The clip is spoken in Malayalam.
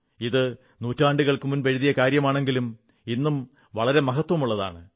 ഇത് നൂറ്റാണ്ടുകൾ മുമ്പ് എഴുതിയ കാര്യമാണെങ്കിലും ഇന്നും വളരെ മഹത്വമുള്ളതാണ്